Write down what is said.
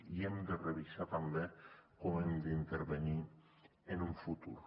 i hem de revisar també com hem d’intervenir en un futur